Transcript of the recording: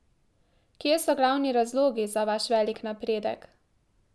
Kje so glavni razlogi za vaš velik napredek?